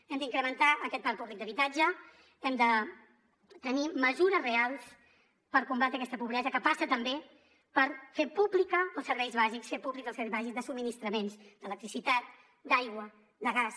hem d’incrementar aquest parc públic d’habitatge hem de tenir mesures reals per combatre aquesta pobresa que passa també per fer públics els serveis bàsics de subministraments d’electricitat d’aigua de gas